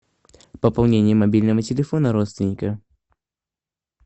пополнение мобильного телефона родственника